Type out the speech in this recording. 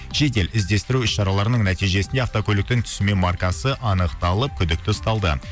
жедел іздестіру іс шараларының нәтижесінде автокөліктің түсі мен маркасы анықталып күдікті ұсталды